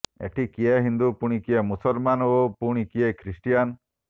ଏଠି କିଏ ହିନ୍ଦୁ ପୁଣି କିଏ ମୁସଲମାନ୍ ଓ ପୁଣି କିଏ ଖ୍ରୀଷ୍ଟିଆନ୍